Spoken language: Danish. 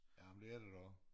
Jamen det er det da også